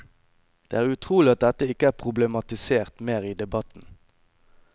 Det er utrolig at dette ikke er problematisert mer i debatten.